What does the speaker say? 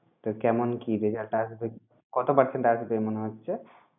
তো কেমন কি result আসবে? কত percent আসবে মনে হচ্ছে?